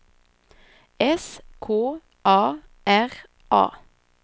S K A R A